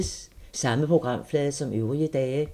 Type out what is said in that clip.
Samme programflade som øvrige dage